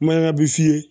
Mayan bɛ f'i ye